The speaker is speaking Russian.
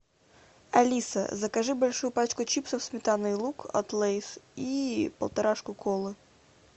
алиса закажи большую пачку чипсов сметана и лук от лейс и полторашку колы